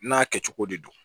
N'a kɛcogo de don